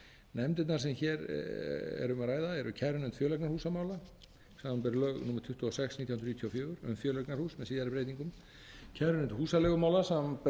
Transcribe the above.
nefndirnar sem hér er um að ræða eru kærunefnd fjöleignarhúsamála samanber lög númer tuttugu og sex nítján hundruð níutíu og fjögur um fjöleignarhús með síðari breytingum kærunefnd húsaleigumála samanber húsaleigulög númer